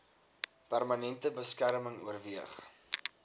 permanente beskerming oorweeg